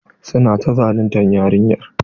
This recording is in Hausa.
Su na ta zaluntar yarinyar.